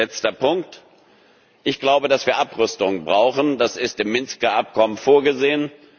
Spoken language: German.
ist. Letzter Punkt Ich glaube, dass wir Abrüstung brauchen das ist im Minsker Abkommen vorgesehen.